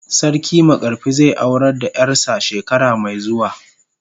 Sarki makarfi zai aurar da yar sa shekara mai zuwa.